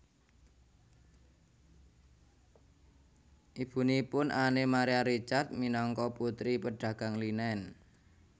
Ibunipun Anne Marie Ricard minangka putri pedagang linen